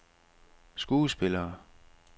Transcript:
skuespillere